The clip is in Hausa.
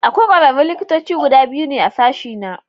Akwai kwararrun likitoci guda biyu Ni sashena ne.